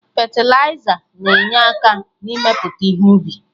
Fetịliza na-enye aka na-mmepụta ihe ubi